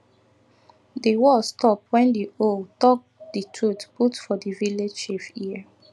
di war stop wen di owl talk di truth put for the vilage chief ear